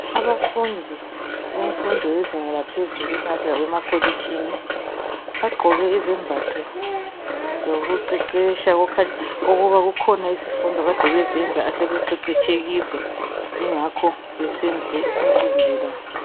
Abafundi bemfundo yezinga laphezulu esingathi ngabemakolitshini bagqoke izembatho zokuqeqetsha okukhanya ukuba kukhona izifundo akade bezenza asebeqeqetshe kizo yingakho besenze umcimbi lo.